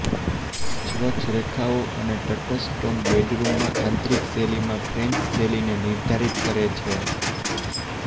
સ્વચ્છ રેખાઓ અને તટસ્થ ટોન બેડરૂમમાં આંતરિક શૈલીમાં ફ્રેન્ચ શૈલીને નિર્ધારિત કરે છે